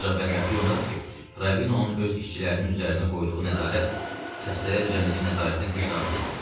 Ancaq bədbəxtlik ondadır ki, Ravinonun öz işçilərinin üzərinə qoyduğu nəzarət xəstələr üzərindəki nəzarətdən heç də az deyil.